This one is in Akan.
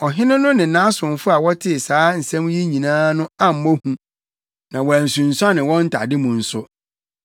Ɔhene no ne nʼasomfo a wɔtee saa nsɛm yi nyinaa no ammɔ hu, na wɔansunsuane wɔn ntade mu nso.